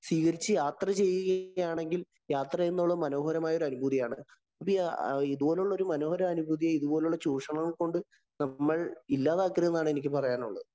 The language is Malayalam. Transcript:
സ്വീകരിച്ചു യാത്ര ചെയ്യുകയാണെങ്കില്‍ യാത്ര ചെയ്യുന്നത് മനോഹരമായ ഒരു അനുഭൂതിയും ഇതുപോലെയുള്ള ചൂഷണങ്ങള്‍ കൊണ്ട് നമ്മള്‍ ഇല്ലാതാക്കരുത് എന്നാണ് എനിക്ക് പറയാനുള്ളത്.